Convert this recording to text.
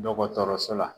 Dɔgɔtɔrɔso la